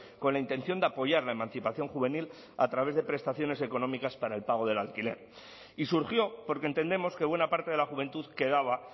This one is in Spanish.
con la intención de apoyar la emancipación juvenil a través de prestaciones económicas para el pago del alquiler y surgió porque entendemos que buena parte de la juventud quedaba